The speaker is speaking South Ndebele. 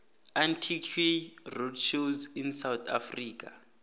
antique roadshows in south africa